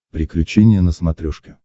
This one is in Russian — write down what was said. приключения на смотрешке